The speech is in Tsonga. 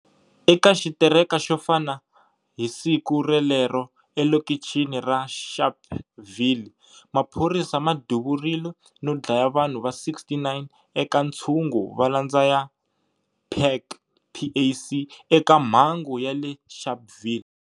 Eka xitereka xofana hi siku relero e lokichini ra Sharpeville, maphorisa ma duvurile no dlaya vanhu va 69 eka ntshungu va malandza ya PAC eka mhangu ya le Sharpville.